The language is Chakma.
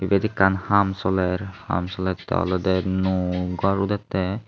iyot ekkan haam soler haam solettey olodey nuo gor udettey.